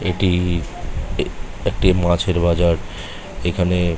এটি একটি মাছের বাজার। এইখানে--